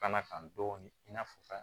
Bana kan dɔɔni i n'a fɔ